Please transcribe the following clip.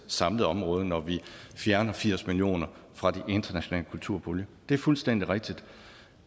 samlede område når vi fjerner firs million fra den internationale kulturpulje det er fuldstændig rigtigt